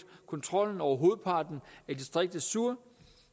kontrollen over hovedparten af distriktet sur